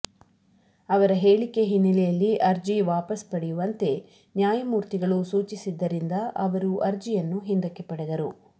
ಅವರ ಹೇಳಿಕೆ ಹಿನ್ನೆಲೆಯಲ್ಲಿ ಅರ್ಜಿ ವಾಪಸ್ ಪಡೆಯುವಂತೆ ನ್ಯಾಯಮೂರ್ತಿಗಳು ಸೂಚಿಸಿದ್ದರಿಂದ ಅವರು ಅರ್ಜಿಯನ್ನು ಹಿಂದಕ್ಕೆ ಪಡೆದರು